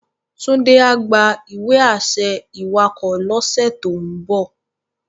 Tunde á gbá iwe-ašẹ iwákò lòs tó n bò